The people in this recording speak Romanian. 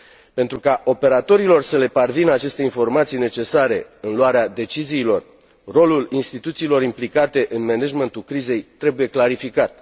Pentru ca operatorilor să le parvină aceste informații necesare în luarea deciziilor, rolul instituțiilor implicate în managementul crizei trebuie clarificat.